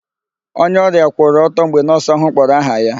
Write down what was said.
Onye ọrịa kwụrụ ọtọ mgbe nọọsụ ahụ kpọrọ aha ya.